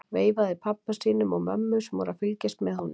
Veifaði pabba sínum og mömmu sem voru að fylgjast með honum.